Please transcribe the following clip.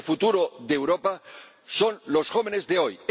El futuro de Europa son los jóvenes de hoy.